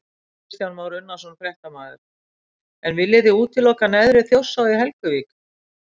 Kristján Már Unnarsson, fréttamaður: En viljið þið útiloka neðri Þjórsá í Helguvík?